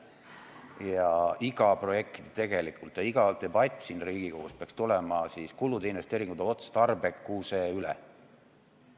Tegelikult iga projekt ja iga debatt siin Riigikogus peaks tulema kulude investeeringute otstarbekuse üle.